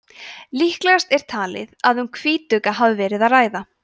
líklegast er talið að um hvítugga hafi verið að ræða